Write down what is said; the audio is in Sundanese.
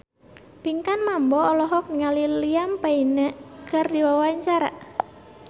Pinkan Mambo olohok ningali Liam Payne keur diwawancara